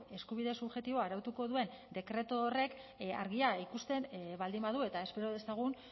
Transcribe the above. eskubide subjektiboa arautuko duen dekretu horrek argia ikusten baldin badu eta espero dezagun